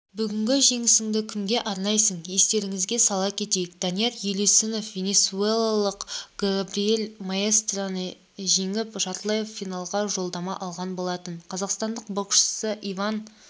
бүгінгі жеңісіңді кімге арнайсың естеріңізге сала кетейік данияр елеусіноввенесуэлалықгабриэль маестреніжеңіп жартылай финалғажолдама алғанболатын қазақстандық боксшы иван